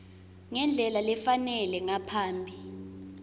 ngendlela lefanele ngaphambi